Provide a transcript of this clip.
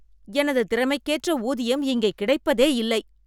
எனது திறமைக்கேற்ற ஊதியம் இங்கே கிடைப்பதே இல்லை.